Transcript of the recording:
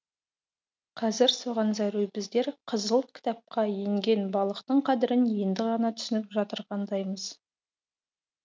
қазір соған зәру біздер қызыл кітапқа енген балықтың қадірін енді ғана түсініп жатырғандаймыз